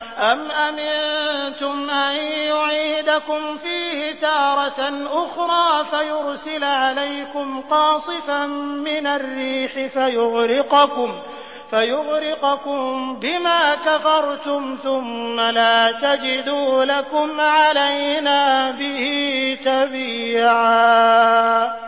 أَمْ أَمِنتُمْ أَن يُعِيدَكُمْ فِيهِ تَارَةً أُخْرَىٰ فَيُرْسِلَ عَلَيْكُمْ قَاصِفًا مِّنَ الرِّيحِ فَيُغْرِقَكُم بِمَا كَفَرْتُمْ ۙ ثُمَّ لَا تَجِدُوا لَكُمْ عَلَيْنَا بِهِ تَبِيعًا